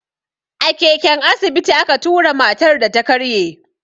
A keken asibiti a ka tura matar da ta karye.